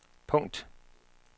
punkt